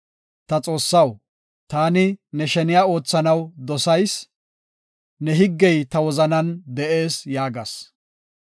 Ta Xoossaw, taani ne sheniya oothanaw dosayis; ne higgey ta wozanan de7ees” yaagas.